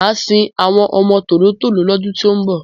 Màá sin àwọn ọmọ tòló-tòló lọ́dún tí ń bọ̀.